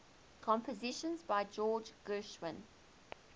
compositions by george gershwin